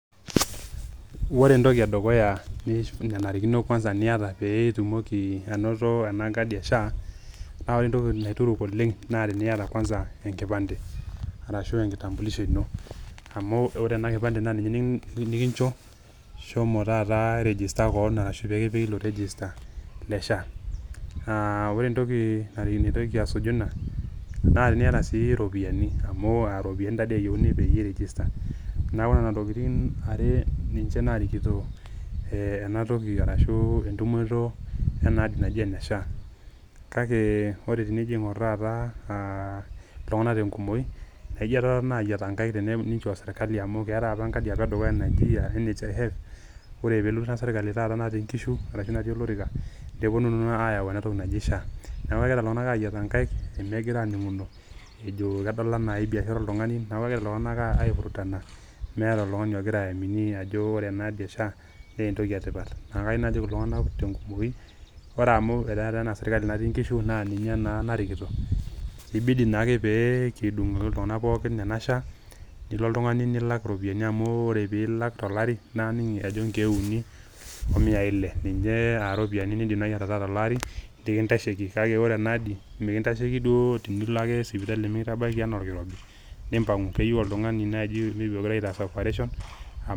ore entoki edukuya nananrikono kuana pee iyata pee itumoi anoto ena kadi e SHA, naa ore entoki naituruk oleng naa pee iyata kuansa enkipande, ashu enkitambulisho ino. naa ore kuansa ena kipande, naa ninye nikincho shomo taata i registe kewon ashu kipiki ilo register le SHA.ore entoki, naitoki asuju ina naa teniata siii iropiyiani, amu iropiyiani taa dii eyieuni peyie ei register neeku nena tokitin, are ninche naarikito ena toki ashu entumoto, ena adi naji ena SHAnaijo teningor taata iltungana te nkumoi naijo ketotona aayiata nkaik osirkali amu keetae apa enkadi edukuya naji NHIF orre pee elotu ina sirkali taata natiii nkishu arsashu natii olorika, nepuonu naa aayau ena toki naji SHA.neeku kegira iltunganak aayiataro nkaik, megira aaining'uno. ejo kedol anaa keniashara oltungani. neeku kegira iltunganaka ai vurutana meeta oltungani ogira aamini ajo ore ena adi e SHA naa entoki etipat. neeku kayieu najoki iltunganak tenkumoi. ore amu etaa ena srkali natii nkishu naa ninye naa narikito, kibdi naa ake pee kidung iltunganak pookin ena SHA.nilo oltungani nilak iropiyiani amu aning ajo ore pe ilak tolarin naa ining ajo nkeek uni omiae ile. ninche iropiyiani nidim naaji atalaatolari nikintasheki. kake ore ena adi mikintasheiki duo tenilo naaji sipitali iyata orkirobi nimppang. keyieu oltungani naaji ogirae aitaasa operation.